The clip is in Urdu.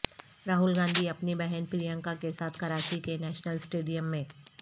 راہول گاندھی اپنی بہن پرییانکا کے ساتھ کراچی کے نیشنل سٹیڈیم میں